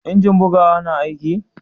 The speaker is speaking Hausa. injin bugawa na aiki?